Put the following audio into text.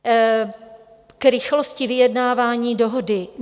K rychlosti vyjednávání dohody.